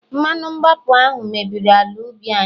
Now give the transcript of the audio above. mmanu mgbapu ahu mebiri ala ubi anyi